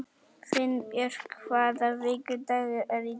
Finnbjörk, hvaða vikudagur er í dag?